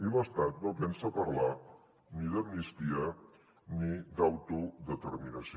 i l’estat no pensa parlar ni d’amnistia ni d’autodeterminació